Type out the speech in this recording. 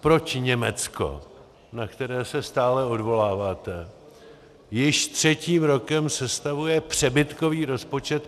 Proč Německo, na které se stále odvoláváte, již třetím rokem sestavuje přebytkový rozpočet?